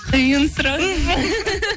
қиын сұрақ